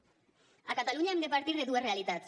a catalunya hem de partir de dues realitats